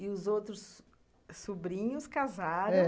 E os outros... sobrinhos casaram... é.